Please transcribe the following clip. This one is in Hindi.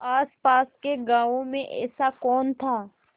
आसपास के गाँवों में ऐसा कौन था